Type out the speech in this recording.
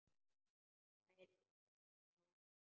Tvær vísur hennar voru svona: